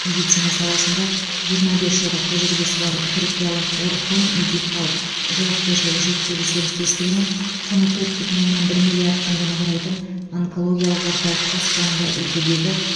медицина саласында жиырма бес жылдық тәжірбиесі бар түркиялық орхун медикал жауапкершілігі шектеулі серіктестігімен құны төрт бүтін оннан бір миллиард теңгені құрайтын онкологиялық орталыққа соңғы үлгідегі